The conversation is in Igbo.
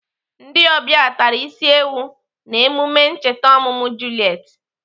Ndị ọbịa tara isi ewu n'emume ncheta ọmụmụ Juliet.